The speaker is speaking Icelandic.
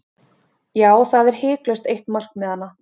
Já, það er hiklaust eitt markmiðanna.